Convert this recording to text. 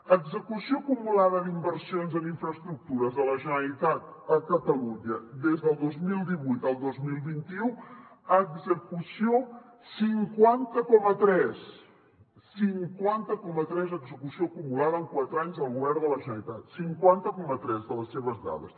execució acumulada d’inversions en infraestructures de la generalitat a catalunya des del dos mil divuit al dos mil vint u execució cinquanta coma tres cinquanta coma tres d’execució acumulada en quatre anys del govern de la generalitat cinquanta coma tres de les seves dades